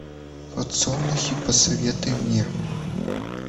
подсолнухи посоветуй мне